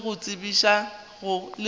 swanetše go bitša le go